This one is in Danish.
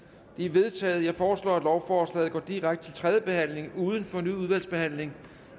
de er vedtaget jeg foreslår at lovforslaget går direkte til tredje behandling uden fornyet udvalgsbehandling